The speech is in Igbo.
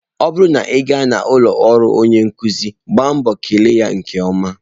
Ọ bụrụ na ị gaa n'ụlọ ọrụ onye nkuzi, gbaa mbọ kele ya nke ọma.